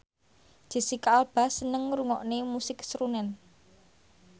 Jesicca Alba seneng ngrungokne musik srunen